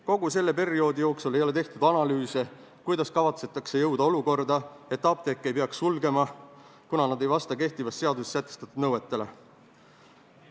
Kogu selle aja jooksul ei ole tehtud analüüse, kuidas kavatsetakse tagada olukord, et apteeke ei peaks sulgema, kuna need ei vasta kehtivas seaduses sätestatud nõuetele.